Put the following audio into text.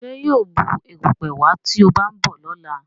Ṣe yíò Bù erùpẹ̀ wá tí o ba nbọ lọla?